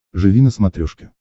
живи на смотрешке